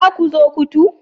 Za ku zo kotu